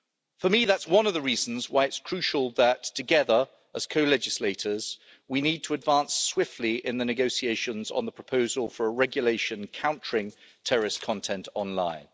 For me, that's one of the reasons why it's crucial that together, as co legislators, we advance swiftly in the negotiations on the proposal for a regulation countering terrorist content online.